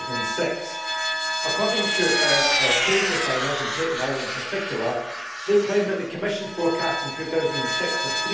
2006. According to our cane refiners, and Tate Lyle in particular, they claim that the Commission forecast in 2006 of